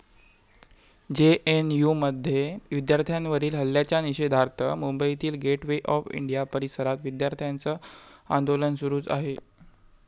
जेएनयूमध्ये विद्यार्थ्यांवरील हल्ल्याच्या निषेधार्थ मुंबईतील गेट वे ऑफ इंडिया परिसरात विद्यार्थ्यांचं आंदोलन सुरूच आहे.